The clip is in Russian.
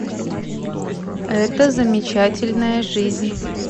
эта замечательная жизнь